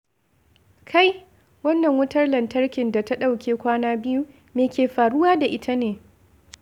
Kai! Wannan wutar lantarkin da ta ɗauke kwana biyu, me ke faruwa da ita ne?